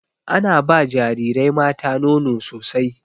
Ana ba jarirai mata nono sosai.